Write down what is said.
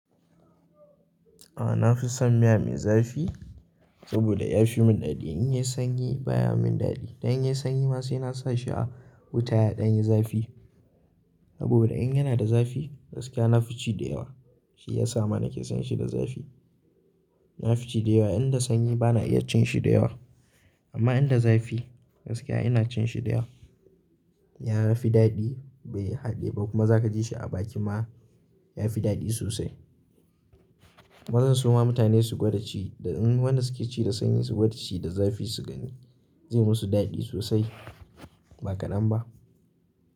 A nafi son miya mai zafi saboda ya fi min daɗi. In yi sanyi baya min daɗi. Dan in yi sanyi ma sai na sa shi a wuta ya ɗan yi zafi. Saboda in yana da zafi gaskiya nafi ci da yawa. Shi ya sa ma nake son shi da zafi. Nafi ci da yawa, in da sanyi bana iya cin shi da yawa. Amma in da zafi gaskiya ina cin shi da yawa. Ya fi daɗi bai haɗe ba kuma za ka ji shi a baki ma ya fi daɗi sosai. Bazan so ma mutane su gwada ci da, in wanda suke ci da sanyi su gwada ci da zafi su gani, zai musu daɗi sosai ba kaɗan ba.